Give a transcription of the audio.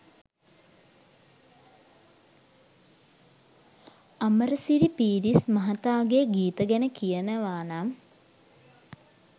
අමරසිරි පීරිස් මහතාගේ ගීත ගැන කියනවානම්